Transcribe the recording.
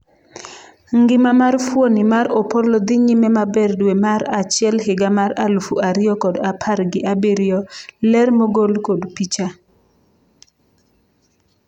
ngima mar fuoni mar Opollo dhi nyime maber dwe mar achiel higa mar alufu ariyo kod apar gi abiriyo ,ler mogol kod picha